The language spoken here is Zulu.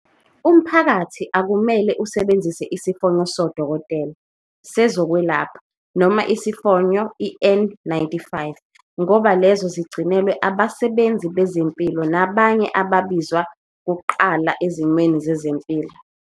Umphakathi akumele usebenzise isifonyo sodokotela, sezokwelapha, noma isifonyo i-N-95 ngoba lezo zigcinelwe abasebenzi bezempilo nabanye ababizwa kuqala ezimweni zezempilo.